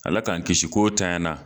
Ala k'an kisi k'o ntanyana